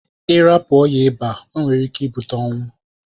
Irapu oya ịba onwere ike ibute ọnwụ.